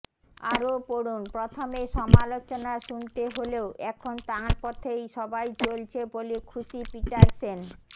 আরও পড়ুন প্রথমে সমালোচনা শুনতে হলেও এখন তাঁর পথে সবাই চলছে বলে খুশি পিটারসেন